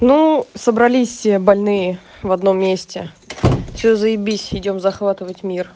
ну собрались больные в одном месте все заибись идём захватывать мир